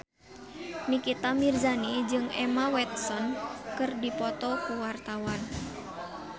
Nikita Mirzani jeung Emma Watson keur dipoto ku wartawan